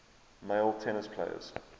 male tennis players